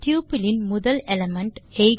tuple இன் முதல் element